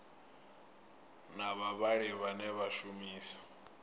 na vhavhali vhane vha shumisa